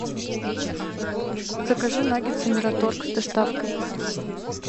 закажи наггетсы мираторг с доставкой